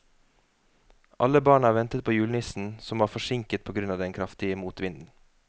Alle barna ventet på julenissen, som var forsinket på grunn av den kraftige motvinden.